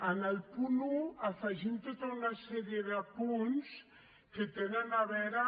en el punt un afegim tota una sèrie de punts que tenen a veure